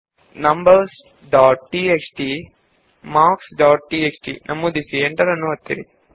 numbers dot TXT ಮತ್ತು marks dot TXT ಅನ್ನು paste ಮಾಡಿ ಮತ್ತು ಎಂಟರ್ ಒತ್ತಿ